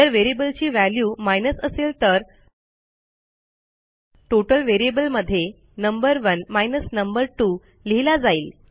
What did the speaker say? जर व्हेरिएबलची value minus असेल तर टोटल व्हेरिएबल मध्ये नंबर 1 नंबर 2 लिहिला जाईल